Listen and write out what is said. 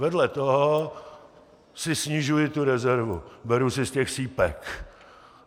Vedle toho si snižuji tu rezervu, beru si z těch sýpek.